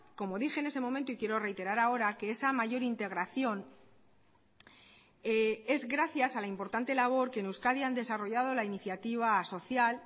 como dije en ese momento y quiero reiterar ahora que esa mayor integración es gracias a la importante labor que en euskadi han desarrollado la iniciativa social